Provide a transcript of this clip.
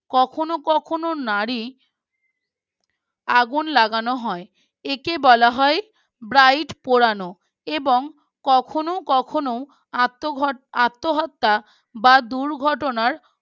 কখনো কখনো নারী আগুন লাগানো হয় একে বলা হয় Bride পোড়ানো এবং কখনো কখনো আত্মহ আত্মহত্যা বা দুর্ঘটনার